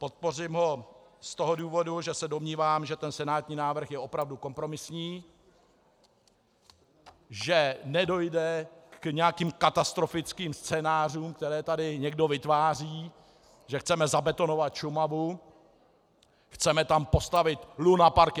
Podpořím ho z toho důvodu, že se domnívám, že ten senátní návrh je opravdu kompromisní, že nedojde k nějakým katastrofickým scénářům, které tady někdo vytváří, že chceme zabetonovat Šumavu, chceme tam postavit lunapark.